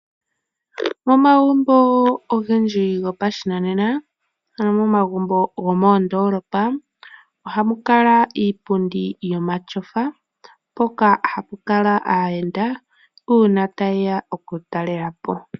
Momagumbo ogendji gopa shinanena, ano moma gumbo gomo ndoolopa, ohamukala iipundi yomashofa hoka hakukala aayenda, uuna tayeya okutalelapo.